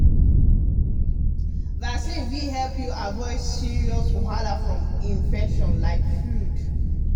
vaccine fit help you avoid serious wahala from infection like flu.